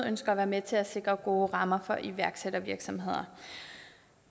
ønsker at være med til at sikre gode rammer for iværksættervirksomheder